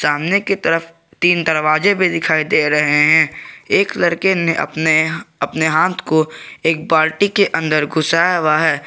सामने की तरफ तीन दरवाजे भी दिखाई दे रहे हैं एक लड़के ने अपने अपने हाथ को एक बाल्टी के अंदर घुसाया हुआ है।